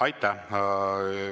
Aitäh!